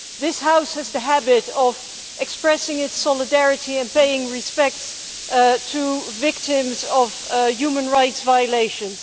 This House has the habit of expressing its solidarity and paying respect to victims of human rights violations.